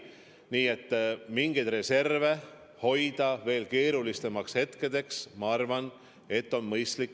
Nii et mingeid reserve hoida veel keerulisemateks hetkedeks, ma arvan, on mõistlik.